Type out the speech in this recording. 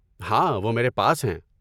ہاں، وہ میرے پاس ہیں۔